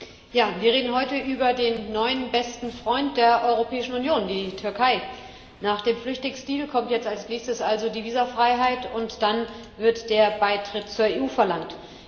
Frau Präsidentin! Ja, wir reden heute über den neuen besten Freund der Europäischen Union, die Türkei. Nach dem Flüchtlingsdeal kommt jetzt als Nächstes also die Visafreiheit, und dann wird der Beitritt zur EU verlangt.